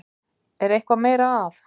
Er eitthvað meira að?